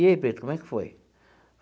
E aí, preto, como é que foi?